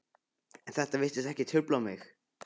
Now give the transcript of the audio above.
En þetta virtist ekki trufla mig.